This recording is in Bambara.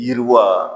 Yiriwa